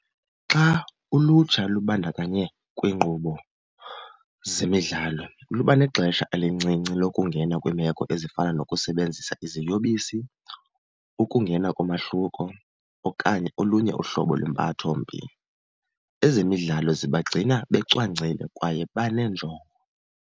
Xa ulutsha lubandakanye kwiinkqubo zemidlalo luba nexesha elincinci lokungena kwiimeko ezifana nokusebenzisa iziyobisi, ukungena komahluko okanye olunye uhlobo lwempathombi. Ezemidlalo zibagcina becwangcile kwaye baneenjongo.